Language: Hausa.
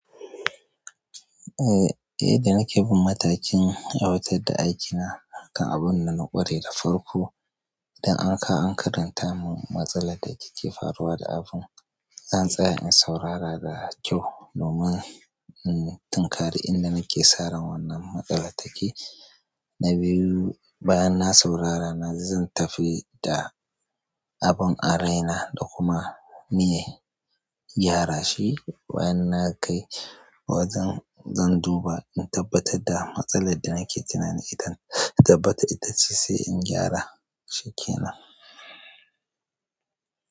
Eh, eh da nake bin matakin aiwatar da aikina kan abun da na ƙware da farko. Idan an kawo an ka karanta min matsalar da take faruwa da abun, zan tsaya in saurara da kyau domin, in tinkari inda nake saran wannan matsalar take. Na biyu, bayan na saurara, na zan tafi da abun a raina da kuma miye gyara shi. Bayan na kai wajen, zan duba in tabbatar da matsalar da nake tunani idan, in tabbata ita ce sai in gyara shikenan.